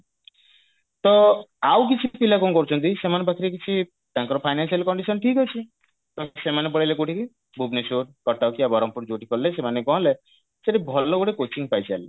ତ ଆଉ କିଛି ପିଲା କଣ କରୁଛନ୍ତି ସେମାନଙ୍କ ପାଖରେ କିଛି ତାଙ୍କର financial condition ଠିକ ଅଛି ତ ସେମାନେ ପଳେଇଲେ କଉଠିକି ଭୁବନେଶ୍ବର କଟକ ୟା ବରମ୍ପୁର ଯଉଠି ପଢିଲେ ସେମାନେ କଣ ହେଲେ ସେଇଠି ଭଲ ଗୋଟେ coaching ପାଇଲେ